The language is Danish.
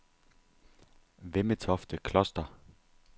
Vemmetofte Kloster